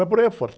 Vai por aí afora.